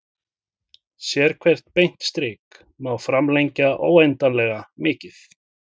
Sérhvert beint strik má framlengja óendanlega mikið.